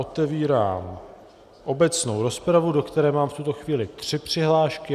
Otevírám obecnou rozpravu, do které mám v tuto chvíli tři přihlášky.